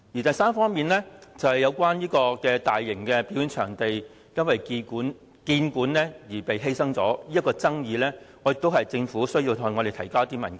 第三方面，就有關大型表演場地因興建故宮館而被犧牲的爭議，我認為政府需向我們提交部分文件。